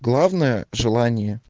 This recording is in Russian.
главное желание